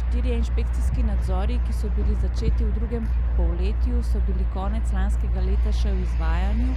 Štirje inšpekcijski nadzori, ki so bili začeti v drugem polletju, so bili konec lanskega leta še v izvajanju,